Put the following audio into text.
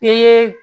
I ye